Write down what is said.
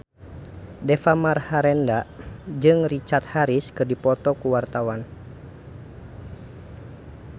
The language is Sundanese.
Deva Mahendra jeung Richard Harris keur dipoto ku wartawan